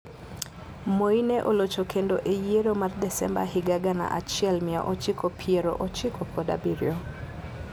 Moi ne olocho kendo e yiero mar Desemba higa gana achiel mia ochiko piero ochiko kod abiriyo.